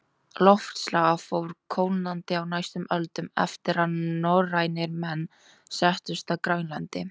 Loftslag fór kólnandi á næstu öldum eftir að norrænir menn settust að á Grænlandi.